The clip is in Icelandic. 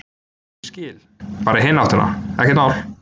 Ég skil, bara í hina áttina, ekkert mál.